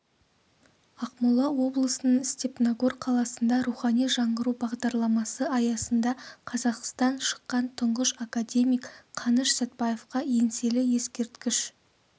ақмола облысының степногор қаласында рухани жаңғыру бағдарламасы аясында қазақтан шыққан тұңғыш академик қаныш сәтбаевқа еңселі ескерткіш